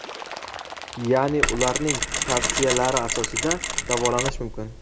ya’ni ularning tavsiyalari asosida davolanish mumkin.